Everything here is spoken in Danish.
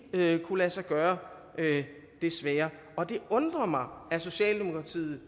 vil ikke kunne lade sig gøre desværre og det undrer mig at socialdemokratiet